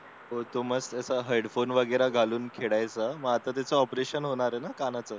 होतो मस्त हेडफोन वगैरे घालून खेळायचा मग आता त्याचं ऑपरेशन होणार आहे ना कानाचं